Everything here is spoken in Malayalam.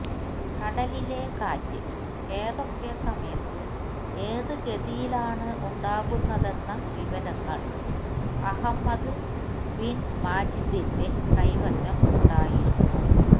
കടലിലെ കാറ്റ് ഏതൊക്കെ സമയത്ത് ഏത് ഗതിയിലാണ് ഉണ്ടാകുന്നതെന്ന വിവരങ്ങള് അഹമ്മദ് ബിന് മാജിദിന്റെ കൈവശം ഉണ്ടായിരുന്നു